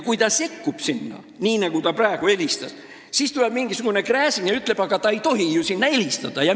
Kui ta sekkub sinna, nii nagu ta nüüd helistas, siis tuleb mingisugune Gräzin ja ütleb: aga ta ei tohi ju sinna helistada!